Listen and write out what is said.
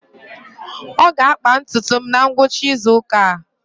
Ọ ga-akpa ntutu m na ngwụcha izu ụka a.